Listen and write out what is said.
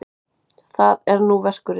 Það er nú verkurinn.